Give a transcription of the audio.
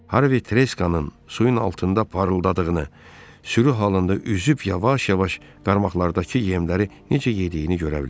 Harri treskanın suyun altında parıldadığını, sürü halında üzüb yavaş-yavaş qarmaqlardakı yemləri necə yediyini görə bilirdi.